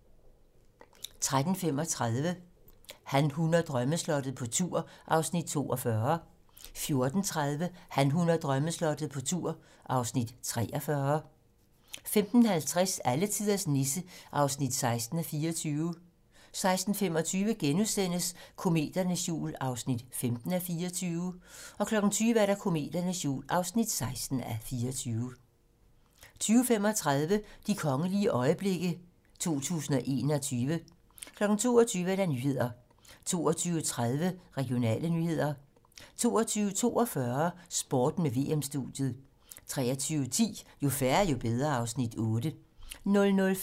13:35: Han, hun og drømmeslottet - på tur (Afs. 42) 14:30: Han, hun og drømmeslottet - på tur (Afs. 43) 15:50: Alletiders Nisse (16:24) 16:25: Kometernes jul (15:24)* 20:00: Kometernes jul (16:24) 20:35: De kongelige øjeblikke 2021 22:00: Nyhederne 22:30: Regionale nyheder 22:42: Sporten med VM-studiet 23:10: Jo færre, jo bedre (Afs. 8)